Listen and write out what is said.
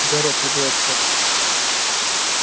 у гарри отлегло от сердца